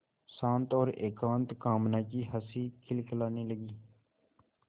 शांत और एकांत कामना की हँसी खिलखिलाने लगी